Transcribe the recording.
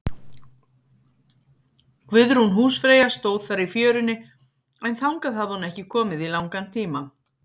Guðrún húsfreyja stóð þar í fjörunni, en þangað hafði hún ekki komið í langan tíma.